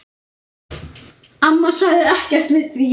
Amma sagði ekkert við því.